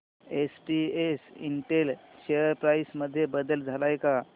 SPS Intel share price मध्ये बदल आलाय का